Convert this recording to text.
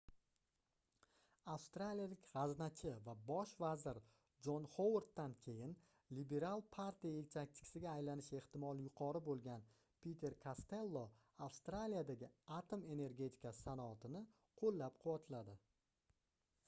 avstraliyalik gʻaznachi va bosh vazir jon hovarddan keyin lebiral partiya yetakchisiga aylanish ehtimoli yuqori boʻlgan piter kastello avstraliyadagi atom energetikasi sanoatini qoʻllab-quvvatladi